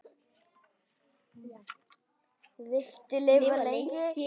Viltu lifa lengi?